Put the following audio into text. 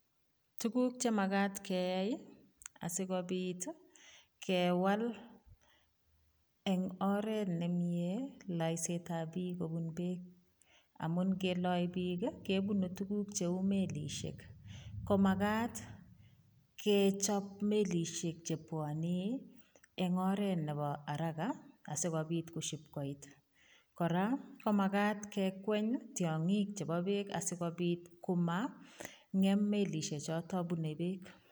Tuguk che magat keyai asigopit kewal eng oret nemie laisetab biik kobun beek amun keloe biik, kebunu tuguk cheu milisiek. Komagat kechob melisiek chepwonei eng oret nepo haraga asigopit kosipkoit. Kora ko magat kekweny tiongik chebo beek asigopit komangem melisichoto bunei beek.